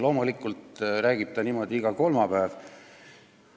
Loomulikult räägib ta niimoodi igal kolmapäeval.